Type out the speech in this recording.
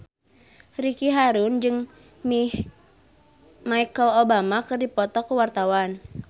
Ricky Harun jeung Michelle Obama keur dipoto ku wartawan